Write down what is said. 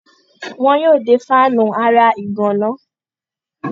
wọn yóò de fáànù ara ìgànná.